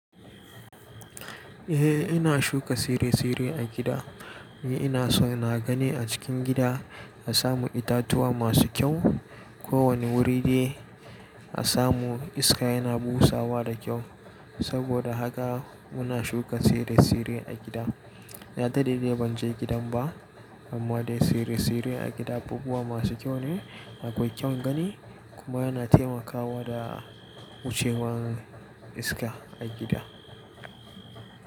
Eh ina shuka tsire-tsire a gida. Eh ina so ina gani a cikin gida, na samu itatuwa masu kyau. Ko wane wuri de a samu iska yana busawa da kyau. Saboda haka muna shuka tsire-tsire a gida. Na dade dai ban je gidan ba amma dai tsire-tsire a gida abubuwa masu kyau ne. Akwai kyan gani kuma yana taimakawa da wucewan iska a gida.